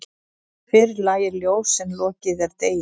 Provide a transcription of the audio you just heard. Fyrr lægir ljós en lokið er degi.